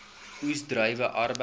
oes druiwe arbeid